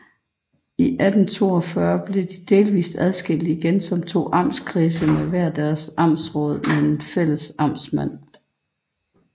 I 1842 blev de delvist adskilt igen som to amtskredse med hver deres amtsråd men med fælles amtsmand